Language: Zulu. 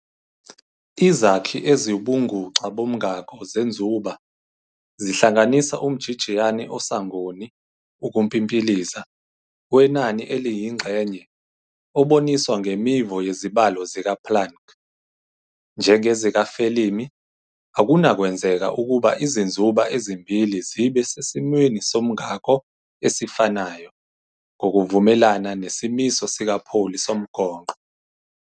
Izakhi eziwubuNguxa boMngako zenzuba zihlanganisa umjijiyane osangoni, ukumpimpiliza, wenani eliyingxenye, oboniswa ngemivo yezibalo zikaPlanck. NjengezikaFelimi, akunakwenzeka ukuba izinzuba ezimbili zibe sesimweni soMngako esifanayo, ngokuvumelana nesimiso sikaPauli somgonqo.